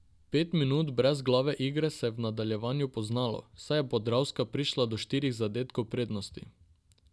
Pet minut brezglave igre se je v nadaljevanju poznalo, saj je Podravka prišla do štirih zadetkov prednosti.